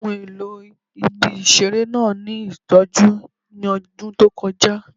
Ohun elo ibi-iṣere naa ni itọju ni ọdun to kọja